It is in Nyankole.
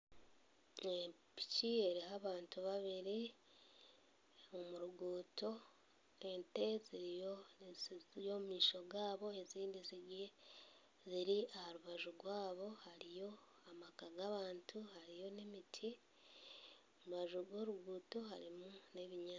Epiki eriho abantu babiri, omu ruguuto ente ziriyo ziri ziri omumaisho gaabo, ezindi ziri ziri aha rubaju rwabo hariyo amaka g'abantu hariyo n'emiti. Aha rubaju rw'oruguuto hariho n'ebinyaasi.